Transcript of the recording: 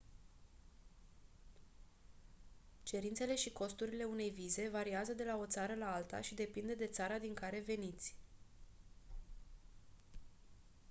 cerințele și costurile unei vize variază de la o țară la alta și depinde de țara din care veniți